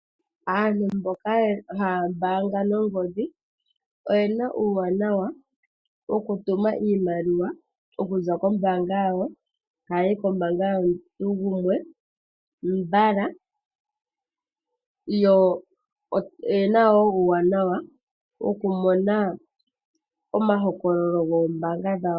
Aantu mboka haya mbaanga nongodhi oyena uuwanawa wokutuma iimaliwa okuza kombaanga yawo tayi yi kombaanga yomuntu gumwe mbala, yo yena wo uuwanawa wokumona omahokololo goombaanga dhawo.